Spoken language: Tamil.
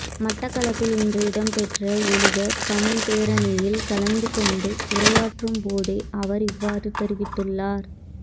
மட்டக்களப்பில் இன்று இடம்பெற்ற எழுக தமிழ் பேரணியில் கலந்து கொண்டு உரையாற்றும் போதே அவர் இவ்வாறு தெரிவித்துள்ளார்